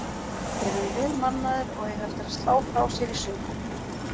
Þeir eru vel mannaðir og eiga eftir að slá frá sér í sumar.